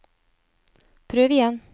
prøv igjen